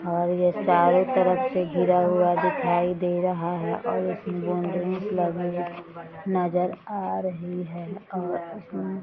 और ये चारों तरफ से घिरा हुआ दिखाई दे रहा है और उसमें बाउंड्रीज लगल नजर आ रही है और इसमें --